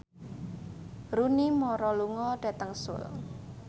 Rooney Mara lunga dhateng Seoul